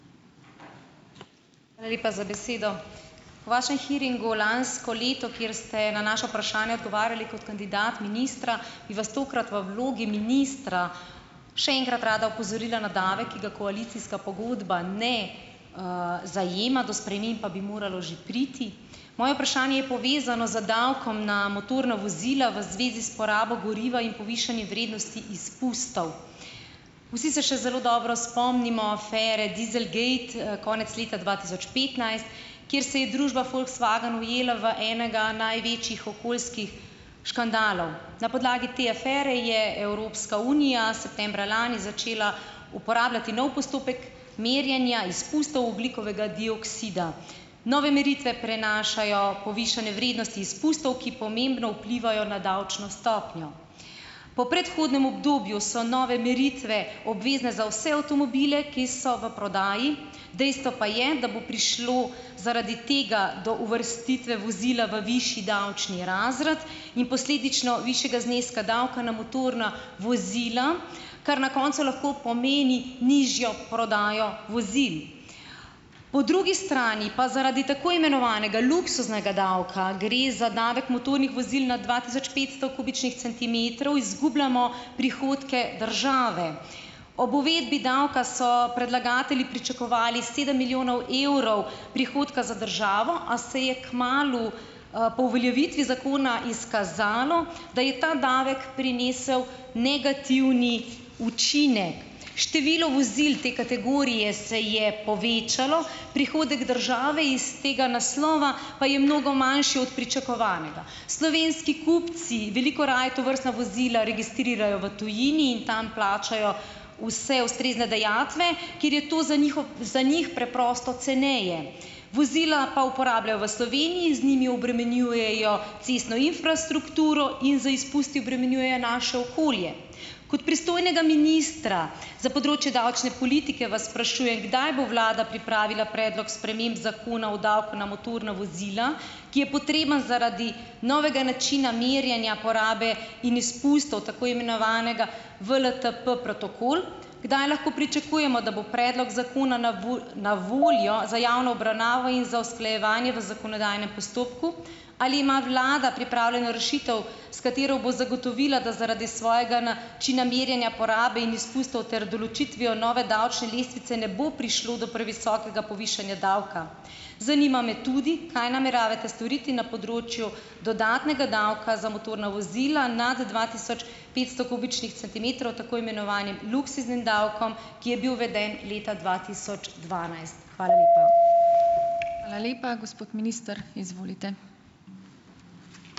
Hvala lepa za besedo. V vašem hearingu lansko leto, kjer ste na naša vprašanja odgovarjali kot kandidat ministra, bi vas tokrat v vlogi ministra še enkrat rada opozorila na davek, ki ga koalicijska pogodba ne, zajema, do sprememb pa bi moralo že priti. Moje vprašanje je povezano z davkom na motorna vozila v zvezi s porabo goriva in povišanje vrednosti izpustov. Vsi se še zelo dobro spomnimo afere dieselgate, konec leta dva tisoč petnajst, kjer se je družba Volkswagen ujela v enega največjih okoljskih škandalov. Na podlagi te afere je Evropska unija septembra lani začela uporabljati nov postopek merjenja izpustov ogljikovega dioksida. Nove meritve prenašajo povišane vrednosti izpustov, ki pomembno vplivajo na davčno stopnjo. Po predhodnem obdobju so nove meritve obvezne za vse avtomobile, ki so v prodaji, dejstvo pa je, da bo prišlo zaradi tega do uvrstitve vozila v višji davčni razred in posledično višjega zneska davka na motorna vozila, kar na koncu lahko pomeni nižjo prodajo vozil. Po drugi strani pa zaradi tako imenovanega luksuznega davka, gre za davek motornih vozil nad dva tisoč petsto kubičnih centimetrov, izgubljamo prihodke države. Ob uvedbi davka so predlagatelji pričakovali sedem milijonov evrov prihodka za državo, a se je kmalu, po uveljavitvi zakona izkazalo, da je ta davek prinesel negativni učinek. Število vozil te kategorije se je povečalo, prihodek države iz tega naslova pa je mnogo manjši od pričakovanega. Slovenski kupci veliko raje tovrstna vozila registrirajo v tujini in tam plačajo vse ustrezne dajatve, ker je to za njih za njih preprosto ceneje. Vozila pa uporabljajo v Sloveniji, z njimi obremenjujejo cestno infrastrukturo in z izpusti obremenjujejo naše okolje. Kot pristojnega ministra za področje davčne politike vas sprašujem, kdaj bo vlada pripravila predlog sprememb Zakona o davku na motorna vozila, ki je potreben zaradi novega načina merjenja porabe in izpustov tako imenovanega WLTP-protokol. Kdaj lahko pričakujemo, da bo predlog zakona na na voljo za javno obravnavo in za usklajevanje v zakonodajnem postopku? Ali ima vlada pripravljeno rešitev, s katero bo zagotovila, da zaradi svojega načina merjenja porabe in izpustov ter določitvijo nove davčne lestvice ne bo prišlo do previsokega povišanja davka? Zanima me tudi, kaj nameravate storiti na področju dodatnega davka za motorna vozila nad dva tisoč petsto kubičnih centimetrov, tako imenovanim luksuznim davkom, ki je bil uveden leta dva tisoč dvanajst? Hvala lepa.